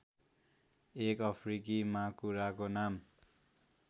एक अफ्रिकी माकुराको नाम